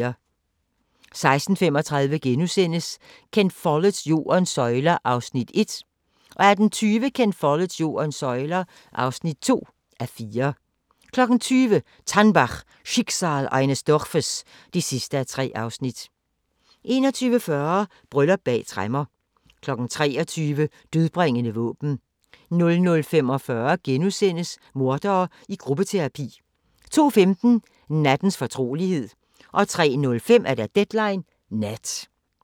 16:35: Ken Folletts Jordens søjler (1:4)* 18:20: Ken Folletts Jordens søjler (2:4) 20:00: TANNBACH - Schicksal eines Dorfes (3:3) 21:40: Bryllup bag tremmer 23:00: Dødbringende våben 00:45: Mordere i gruppeterapi * 02:15: Nattens fortrolighed 03:05: Deadline Nat